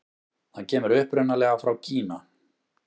Það kemur upprunalega frá Kína.